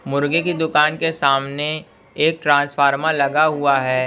मुर्गे की दुकान के सामने एक ट्रांसफार्मर लगा हुआ है।